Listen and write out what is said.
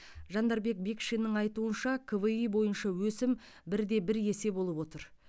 жандарбек бекшиннің айтуынша кви бойынша өсім бір де бір есе болып отыр